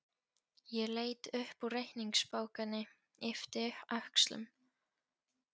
Ég leit upp úr reikningsbókinni, yppti öxlum.